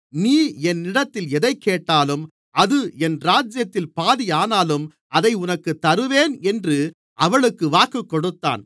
நீ என்னிடத்தில் எதைக்கேட்டாலும் அது என் ராஜ்யத்தில் பாதியானாலும் அதை உனக்குத் தருவேன் என்று அவளுக்கு வாக்குக்கொடுத்தான்